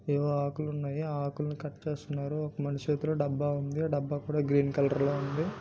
ఏవో ఆకులు ఉన్నాయి. ఆకుల్ని కట్ చేస్తున్నారు. ఒక మనిషి చేతిలో డబ్బా ఉంది. ఆ డబ్బా కూడా గ్రీన్ కలర్ లో ఉన్నది.